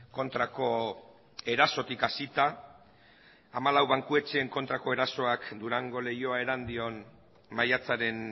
kontrako erasotik hasita hamalau bankuetxen kontrako erasoak durango leioa erandion maiatzaren